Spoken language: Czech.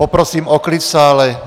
Poprosím o klid v sále.